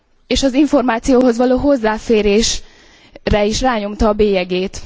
és az információhoz való hozzáférésre is rányomta a bélyegét.